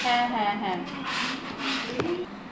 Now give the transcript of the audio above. হ্যা হ্যা হ্যা